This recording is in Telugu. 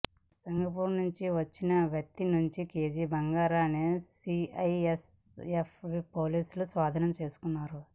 సింగపూర్ నుంచి వచ్చిన వ్యక్తి నుంచి కేజీ బంగారాన్ని సీఐఎస్ఎఫ్ పోలీసులు స్వాధీనం చేసుకున్నారు